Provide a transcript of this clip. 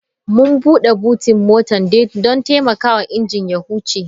Mun bude botin mota don taimakawa injin ya huce.